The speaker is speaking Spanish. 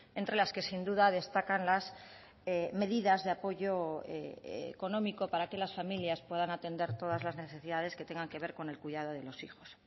entre las que sin duda destacan las medidas de apoyo económico para que las familias puedan atender todas las necesidades que tengan que ver con el cuidado de los hijos